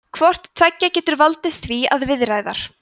hvort tveggja getur valdið því að viðaræðar